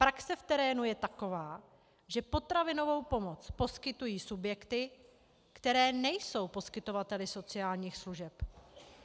Praxe v terénu je taková, že potravinovou pomoc poskytují subjekty, které nejsou poskytovateli sociálních služeb.